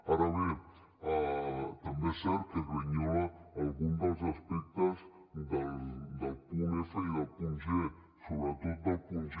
ara bé també és cert que grinyola algun dels aspectes del punt f i del punt g sobretot del punt g